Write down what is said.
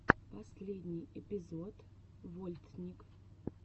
последний эпизод вольтник